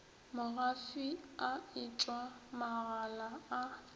mogafi a etshwa magala a